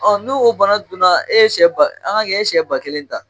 n'o bana donna e ye siyɛ an k'a kɛ e ye siyɛ ba kelen ta.